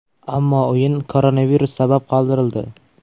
Ammo o‘yin koronavirus sabab qoldirildi .